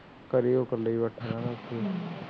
ਘਰੇ ਉਹ ਕੱਲਾ ਹੀ ਬੈਠਾ ਰਹਿੰਦਾ ਉਥੇ